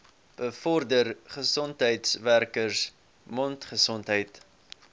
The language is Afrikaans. bevorder gesondheidswerkers mondgesondheid